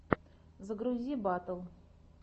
загрузи батл